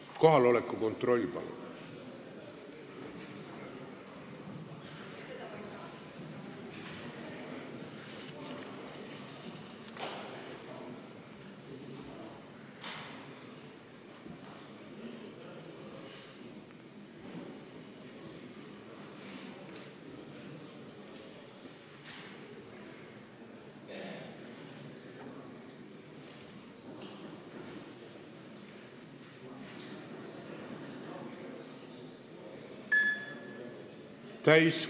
Kohaloleku kontroll, palun!